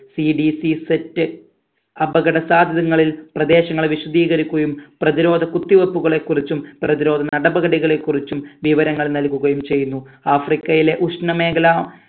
CDCset അപകട സാധ്യതങ്ങളിൽ പ്രദേശങ്ങളെ വിശദീകരികുക്കയും പ്രതിരോധ കുത്തിവെപ്പുകളെ കുറിച്ചും പ്രതിരോധ നടപടികളെ കുറിച്ചും വിവരങ്ങൾ നൽകുകയും ചെയ്യുന്നു ആഫ്രിക്കയിലെ ഉഷ്ണ മേഖല